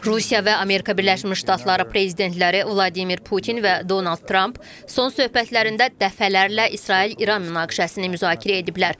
Rusiya və Amerika Birləşmiş Ştatları prezidentləri Vladimir Putin və Donald Tramp son söhbətlərində dəfələrlə İsrail-İran münaqişəsini müzakirə ediblər.